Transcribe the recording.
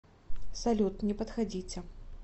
салют не подходите